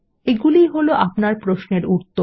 এগুলিই হল আপনার প্রশ্নের উত্তর